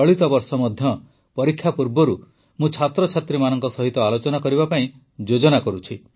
ଚଳିତ ବର୍ଷ ମଧ୍ୟ ପରୀକ୍ଷା ପୂର୍ବରୁ ମୁଁ ଛାତ୍ରଛାତ୍ରୀମାନଙ୍କ ସହିତ ଆଲୋଚନା କରିବା ପାଇଁ ଯୋଜନା କରୁଛି